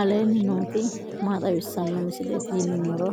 aleenni nooti maa xawisanno misileeti yinummoro